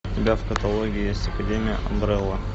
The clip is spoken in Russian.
у тебя в каталоге есть академия амбрелла